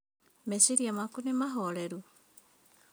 Meciria maku nĩ mahoreru?